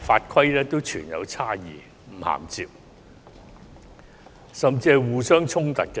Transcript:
法規亦存在差異，並有不銜接甚至互相衝突之處。